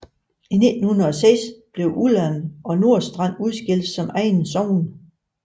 I 1906 blev Ullern og Nordstrand udskilt som egne sogn